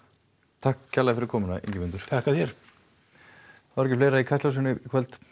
takk kærlega fyrir komuna Ingimundur þakka þér þá er ekki fleira í Kastljósinu í kvöld